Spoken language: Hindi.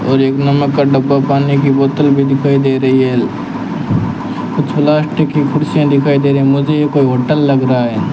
और एक नमक का डब्बा पानी की बोतल भी दिखाई दे रही है कुछ प्लास्टिक की कुर्सियां दिखाई दे रही मुझे ये कोई होटल लग रहा है।